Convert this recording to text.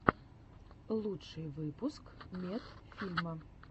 лучший выпуск медфильма